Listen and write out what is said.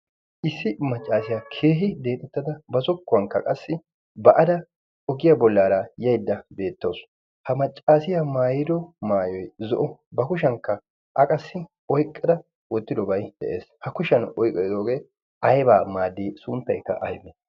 issi maccaasiyaa keehi deexettada ba zokkuwankka qassi ba ada ogiyaa bollaara yaidda beettoosu ha maccaasiyaa maayiro maayoi zo'o ba kushiyankka aqassi oiqqada oottidobai de'ees ha kushiyan oyqqada diyogee aybaa maaddii suunttaykka aybe